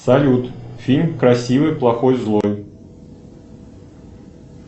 салют фильм красивый плохой злой